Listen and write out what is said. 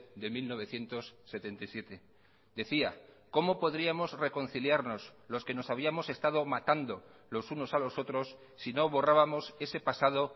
de mil novecientos setenta y siete decía cómo podríamos reconciliarnos los que nos habíamos estado matando los unos a los otros si no borrábamos ese pasado